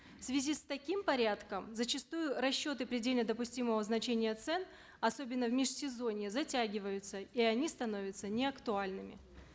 в связи с таким порядком зачастую расчеты предельно допустимого значения цен особенно в межсезонье затягиваются и они становятся неактуальными